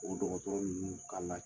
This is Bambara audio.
O dɔgɔtɔrɔ ninnu kan ka